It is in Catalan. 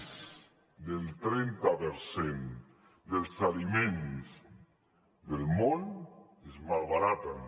més del trenta per cent dels aliments del món es malbaraten